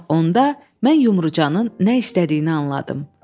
Bax onda mən Yumrucanın nə istədiyini anladım.